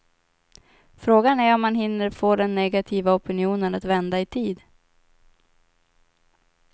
Frågan är om han hinner få den negativa opinionen att vända i tid.